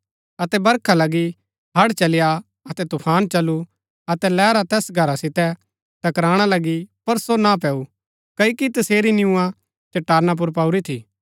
अतै बरखा लगी हड़ड चली आ अतै तुफान चलु अतै लैहरा तैस घरा सितै टकराणा लगी पर सो ना पैऊँ क्ओकि तसेरी निय्आ चट्टाना पुर पाऊरी थी